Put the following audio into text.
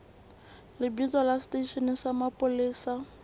lebitso la seteishene sa mapolesa